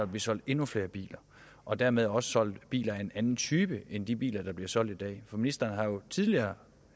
blive solgt endnu flere biler og dermed også blive solgt biler af en anden type end de biler der bliver solgt i dag for ministeren har jo tidligere